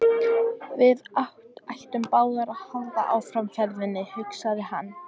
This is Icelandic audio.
Við ættum báðir að halda áfram ferðinni, hugsaði hann.